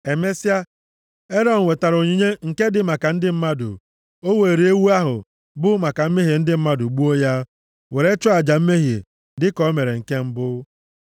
Emesịa, Erọn wetara onyinye nke dị maka ndị mmadụ, o were ewu ahụ bụ maka mmehie ndị mmadụ, gbuo ya, were chụọ aja mmehie, dịka o mere nke mbụ.